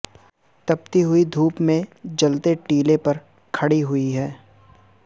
تپتی ہوئی دھوپ میں جلتے ٹیلے پر کھڑی ہوئی ہے